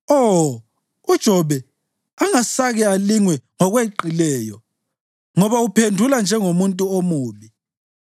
Oh, uJobe angasake alingwe ngokweqileyo ngoba uphendule njengomuntu omubi!